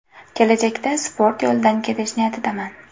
Kelajakda sport yo‘lidan ketish niyatidaman.